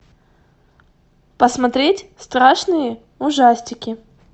посмотреть страшные ужастики